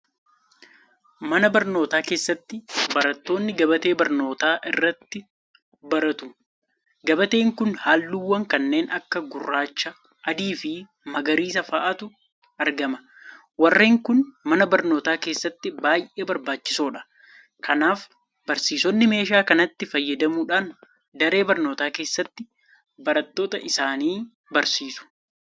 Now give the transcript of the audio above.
Mana barnootaa keessatti barattoonni gabatee barnootaa irratti baratu. Gabateen kun halluuwwan kanneen akka Gurraacha, Adiifi Magariisa fa'aatu argama. Warreen kun mana barnootaa keessatti baay'ee barbaachisoodha. Kanaaf barsiisonni meeshaa kanatti fayyadamuudhaan daree barnootaa keessatti barattoota isaanii barsiisu.